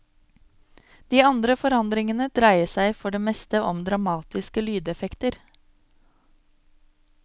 De andre forandringene dreier seg for det meste om dramatiske lydeffekter.